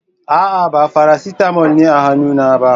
A'a, ba Farasitamol ne a hannuna ba.